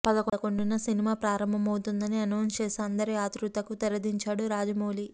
పదకొండున సినిమా ప్రారంభమవుతోందని అనౌన్స్ చేసి అందరి ఆతృతకూ తెరదించాడు రాజమౌళి